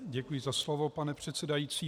Děkuji za slovo, pane předsedající.